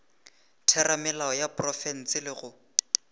theramelao ya profense le go